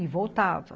E voltava.